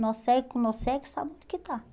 Nó cego com nó cego, sabe onde é que está.